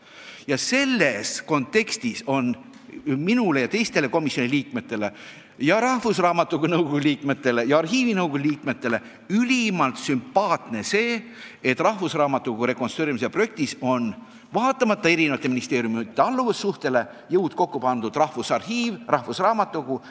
Ja selles kontekstis on minule ja teistele komisjoni liikmetele, samuti rahvusraamatukogu nõukogu ja arhiivinõukogu liikmetele ülimalt sümpaatne see, et rahvusraamatukogu rekonstrueerimise projekti puhul on vaatamata allumisele eri ministeeriumidele Rahvusarhiiv ja Eesti Rahvusraamatukogu jõud kokku pannud.